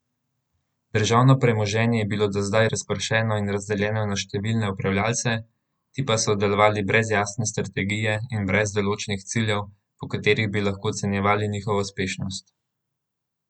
Državno premoženje je bilo do zdaj razpršeno in razdeljeno na številne upravljavce, ti pa so delovali brez jasne strategije in brez določenih ciljev, po katerih bi lahko ocenjevali njihovo uspešnost.